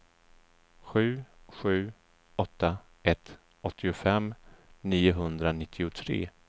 sju sju åtta ett åttiofem niohundranittiotre